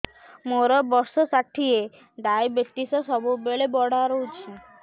ମୋର ବର୍ଷ ଷାଠିଏ ଡାଏବେଟିସ ସବୁବେଳ ବଢ଼ା ରହୁଛି